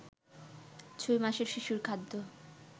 ছয় মাসের শিশুর খাদ্য